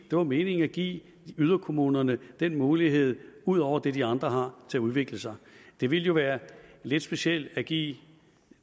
var meningen at give yderkommunerne den mulighed ud over det de andre har til at udvikle sig det ville jo være lidt specielt at give